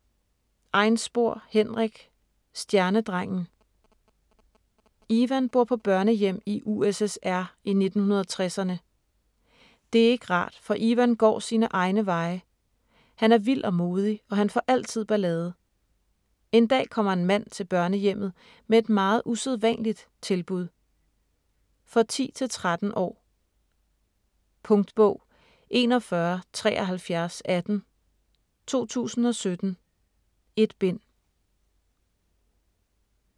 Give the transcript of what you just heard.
Einspor, Henrik: Stjernedrengen Ivan bor på børnehjem i USSR i 1960'erne. Det er ikke rart, for Ivan går sine egne veje. Han er vild og modig, og han får altid ballade. En dag kommer en mand til børnehjemmet med et meget usædvanligt tilbud. For 10-13 år. Punktbog 417318 2017. 1 bind.